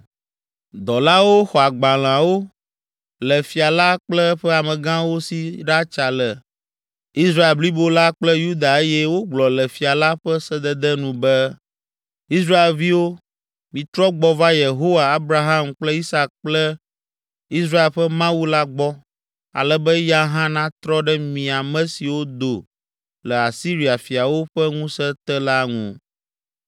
Dɔlawo xɔ agbalẽawo le fia la kple eƒe amegãwo si ɖatsa le le Israel blibo la kple Yuda eye wogblɔ le fia la ƒe sedede nu be be, “Israelviwo, mitrɔ gbɔ va Yehowa, Abraham kple Isak kple Israel ƒe Mawu la gbɔ, ale be eya hã natrɔ ɖe mi ame siwo do le Asiria fiawo ƒe ŋusẽ te la ŋu.